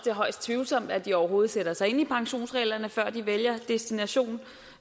er højst tvivlsomt at de overhovedet sætter sig ind i pensionsreglerne før de vælger destination